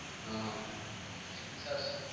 હહ